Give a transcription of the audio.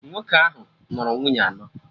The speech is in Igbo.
Nwoke ahụ nụrụ nwunye anọ